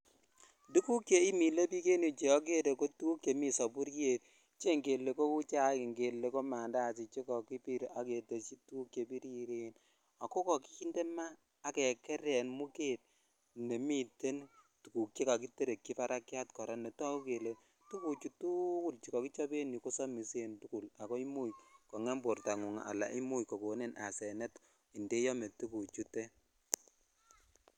Tukuk chemilebik en yuu Che okere ko tukuk chemii soburiet che ngele kouu chaik ng'ele ko mandasi chekokobir ak ketesyi tukuk chebiriren ak ko kinde maa ak kekeren muket nemiten tukuk chekokiterekyi barakiat kora netoku kelee tukuchu tukul chuu ko kichob en yuu kosomisen tukul ak koimuch kong'em bortangung alaan imuch kokonin asenet ndeome tukuchutet.